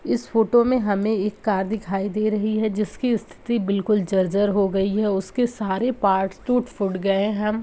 इस फोटो में हमे एक कार दिखाई दे रही है जिसकी स्थिति बिल्कुल जर्जर हो गई है उसके सारे पार्ट्स टूट-फुट गए हैं।